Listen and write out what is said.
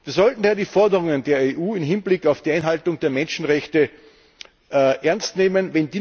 Wir sollten daher die Forderungen der EU im Hinblick auf die Einhaltung der Menschenrechte ernst nehmen.